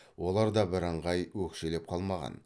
олар да бірыңғай өкшелеп қалмаған